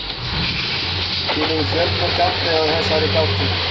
Til eru fjölmörg afbrigði af þessari gátu.